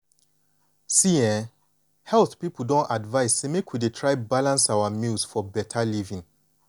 see[um]health people don advise say make we dey try balance our meals for beta living.